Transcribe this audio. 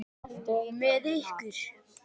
Og með ykkur!